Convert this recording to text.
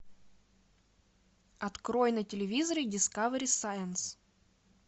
открой на телевизоре дискавери сайенс